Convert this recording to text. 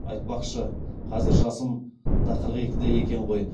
аи тпақшы қазір жасым да қырық екіде екен ғои